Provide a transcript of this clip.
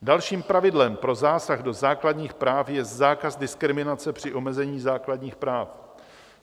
Dalším pravidlem pro zásah do základních práv je zákaz diskriminace při omezení základních práv.